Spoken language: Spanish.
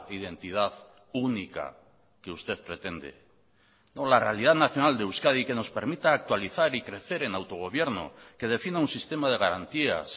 identidad única que usted pretende la realidad nacional de euskadi que nos permita actualizar y crecer en autogobierno que defina un sistema de garantías